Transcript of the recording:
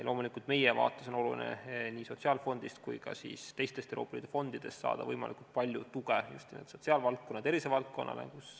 Loomulikult meie vaates on oluline nii sotsiaalfondist kui ka teistest Euroopa Liidu fondidest saada võimalikult palju tuge just nimelt sotsiaalvaldkonnale ja tervisevaldkonnale.